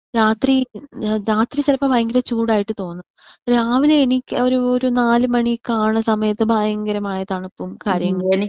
രാത്രി രാത്രി ചെലപ്പോ ഭയങ്കര ചൂടായിട്ട് തോന്നും. രാവിലെ എണീറ്റ ഒരു ഒരു നാലുമണികാവണ സമയത്ത് ഭയങ്കരമായ തണുപ്പും കാര്യങ്ങളും.